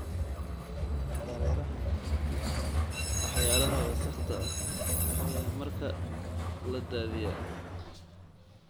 Dareerahan leh waxyaalaha wasakhda ah ayaa markaa la daadiyaa.